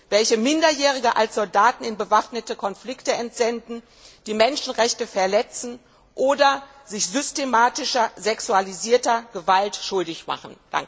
welche Minderjährige als Soldaten in bewaffnete Konflikte entsenden, die Menschenrechte verletzen oder sich systematischer sexualisierter Gewalt schuldig machen.